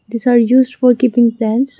These are used for giving plants.